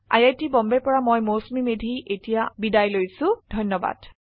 I I T Bombay ৰ পৰা মই মৌচুমী মেধী এতিয়া আপুনাৰ পৰা বিদায় লৈছো যোগদানৰ বাবে ধন্যবাদ